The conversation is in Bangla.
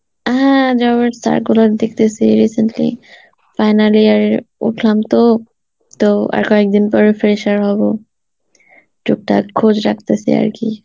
হ্যাঁ job এর circular দেখতেসি recently, final year এ উঠলাম তো, তো আর কয়েক দিন পরে fresher হব, টুকটাক খোঁজ রাখতেসি আরকি